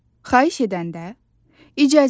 Xahiş edəndə icazənizlə.